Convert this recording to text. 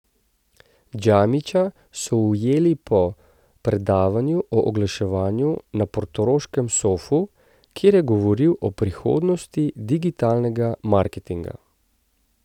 Džamića smo ujeli po predavanju o oglaševanju na portoroškem Sofu, kjer je govoril o prihodnosti digitalnega marketinga.